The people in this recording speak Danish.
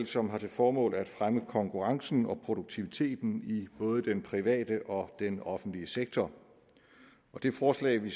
som har til formål at fremme konkurrencen og produktiviteten i både den private og den offentlige sektor og det forslag vi